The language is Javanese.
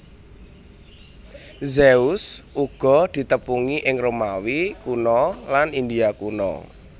Zeus uga ditepungi ing Romawi Kuna lan India kuna